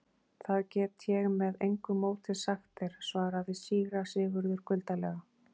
Það get ég með engu móti sagt þér, svaraði síra Sigurður kuldalega.